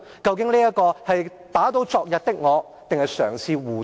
究竟這是打倒昨日的我，還是嘗試護短？